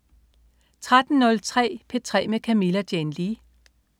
13.03 P3 med Camilla Jane Lea